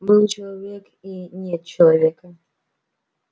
был человек и нет человека